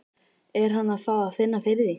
Er hann að fá að finna fyrir því?